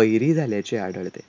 बहिरी झाल्याचे आढळते.